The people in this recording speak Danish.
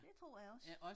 Det tror jeg også